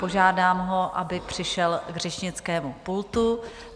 Požádám ho, aby přišel k řečnickému pultu.